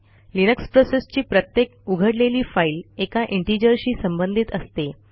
Linux प्रोसेसची प्रत्येक उघडलेली फाईल एका integerशी संबंधित असते